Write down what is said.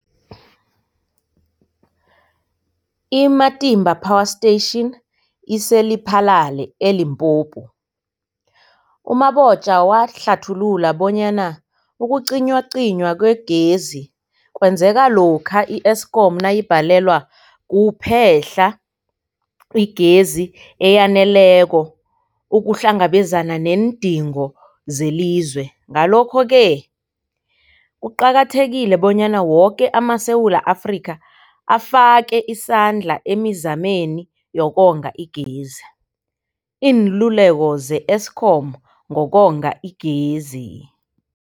I-Matimba Power Station ise-Lephalale, eLimpopo. U-Mabotja wahlathulula bonyana ukucinywacinywa kwegezi kwenzeka lokha i-Eskom nayibhalelwa kuphe-hla igezi eyaneleko ukuhlangabezana neendingo zelizwe. Ngalokho-ke kuqakathekile bonyana woke amaSewula Afrika afake isandla emizameni yokonga igezi. Iinluleko ze-Eskom ngokonga igezi.